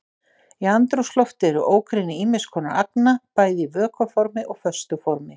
Í andrúmslofti eru ógrynni ýmis konar agna bæði í vökva formi og í föstu formi.